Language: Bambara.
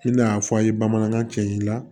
I n'a fɔ a ye bamanankan cɛ i la